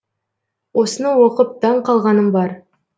осыны оқып таң қалғаным бар